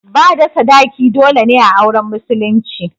Bada sadaki dole ne a auren musulunci